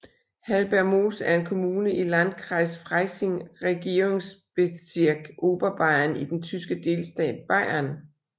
Hallbergmoos er en kommune i i Landkreis Freising Regierungsbezirk Oberbayern i den tyske delstat Bayern